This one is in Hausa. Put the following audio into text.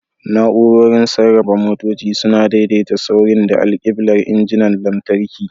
Na'urorin sarrafa motoci suna daidaita saurin da alkiblar injinan lantarki.